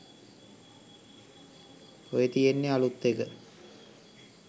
ඔය තියෙන්නේ අලුත් එක